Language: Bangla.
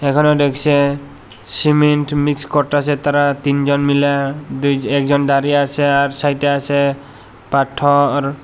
এখানে দেখসে সিমেন্ট মিক্স করতাসে তারা তিনজন মিলা দুই একজন দাঁড়িয়ে আছে আর সাইড -এ আসে পাথওর।